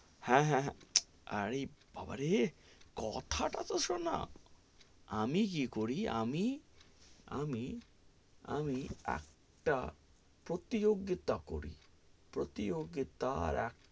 হ্যা, হ্যা, হ্যা, আরে বাবারে কথা টা তো সোনা, আমি কি করি, আমি আমি আমি একটা প্রতিযোগিতা করি, প্রতিযোগিতার,